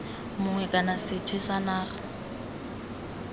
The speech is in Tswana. mongwe kana sethwe sa naga